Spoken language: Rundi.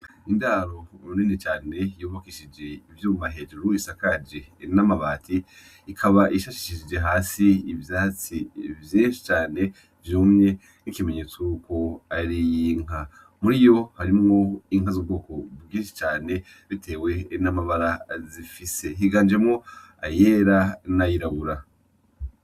Indaro rinini cane yubakishijwe ivyuma hejuru isakaje n'amabati, ikaba ishashishije hasi ivyatsi vyinshi cane vyumye nkikimenyetso yuko ari iy'inka, mur'iyo, harimwo inka zu bwoko bwinshi cane bitewe n'amabara zifise, higanjemwo ayera n'ayirabura.